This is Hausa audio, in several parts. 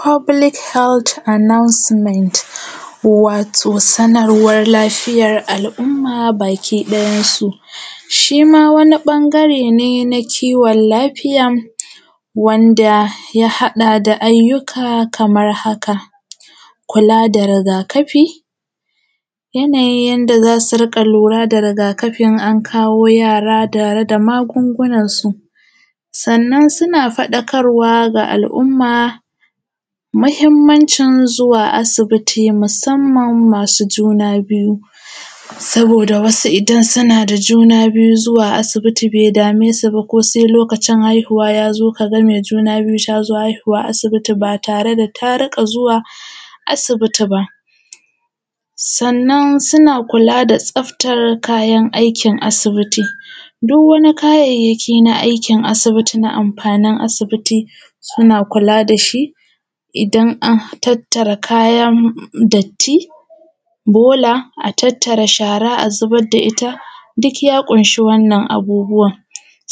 Fobulik helt anausimet wato sanarwan lafiyan al’umma gaba ɗayansu shima wani ɓangare ne na kiwon lafiya wanda ya haɗa da ayyuka Kaman haka. Kula da rigakafi yanayin yanda zasu rinƙa lura da rigaki in an kawo yara tare da magungunan su sannan sannan suna faɗakarwa ga al’umma mahimmancin zuwa asibiti musamman masu juna biyu. Saboda wasu idan sunada juna biyu zuwa asibiti be damesu ba ko sai lokacin haihuwa yazo kaga maiguna biyu ba tare da tarinka zuwa asibiti ba. Sannan kula da tsaftan kayan aikin asibiti duwwani kayayyaki na aikin asibiti na mafanin asibiti suna kula dashi. Idan an tattara kayan datti bola a tattara shara a zubar da itta dukya kunshi wannan abubuwan.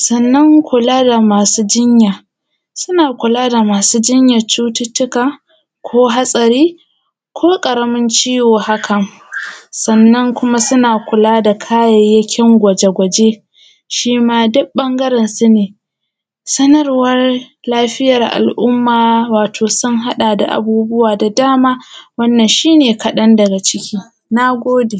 Sannan kula da masu jinya suna kulada masu jinyan cututttuka, hatsari ko ƙaramin ciwo haka. Sannan kuma suna kula da kayayyakin gwaje gwaje shima duk ɓangaren sune sanarwan lafiyar al’umma wato sun haɗa da abubuwa da dama wannan shine kaɗan daga ciki. Nagode